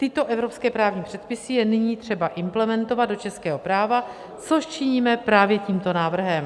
Tyto evropské právní předpisy je nyní třeba implementovat do českého práva, což činíme právě tímto návrhem.